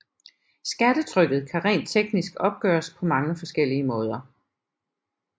Skattetrykket kan rent teknisk opgøres på mange forskellige måder